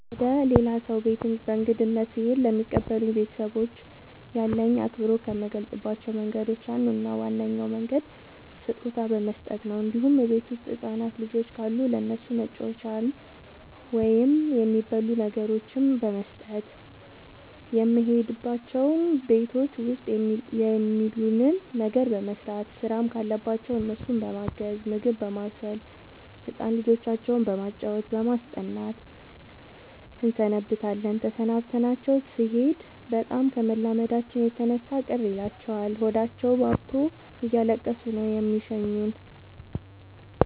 ወደ ሌላ ሰው ቤት በእንግድነት ስሄድ ለሚቀበሉኝ ቤተሰቦች ያለኝን አክብሮት ከምገልፅባቸው መንገዶች አንዱ እና ዋነኛው መንገድ ስጦታ በመስጠት ነው እንዲሁም እቤት ውስጥ ህፃናት ልጆች ካሉ ለእነሱ መጫወቻዎችን ወይም የሚበሉ ነገሮችን በመስጠት። የሄድንባቸው ቤቶች ውስጥ የሚሉንን ነገር በመስማት ስራም ካለባቸው እነሱን በማገዝ ምግብ በማብሰል ህፃን ልጆቻቸው በማጫወት በማስጠናት እንሰነብታለን ተሰናብተናቸው ስኔድ በጣም ከመላመዳችን የተነሳ ቅር ይላቸዋል ሆዳቸውባብቶ እያለቀሱ ነው የሚሸኙን።